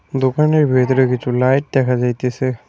দোকানের ভেতরে কিছু লাইট দেখা যাইতেছে।